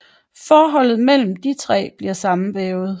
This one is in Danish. Forholdet mellem de tre bliver sammenvævet